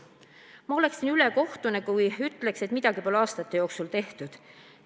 Ma oleksin ülekohtune, kui ütleksin, et midagi pole aastate jooksul tehtud.